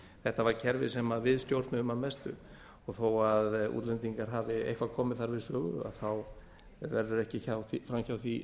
þetta var kerfi sem við stjórnuðum að mestu og þó útlendingar hafi eitthvað komið þar við sögu þá verður ekki fram hjá því